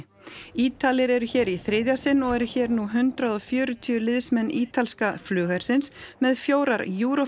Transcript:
Ítalir eru hér í þriðja sinn og eru hér nú hundrað og fjörutíu liðsmenn ítalska flughersins með fjórar